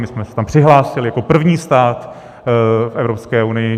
My jsme se tam přihlásili jako první stát v Evropské unii.